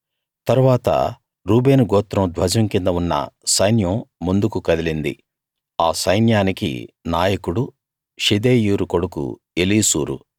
తరువాత రూబేను గోత్రం ధ్వజం కింద ఉన్న సైన్యం ముందుకు కదిలింది ఆ సైన్యానికి నాయకుడు షెదేయూరు కొడుకు ఏలీసూరు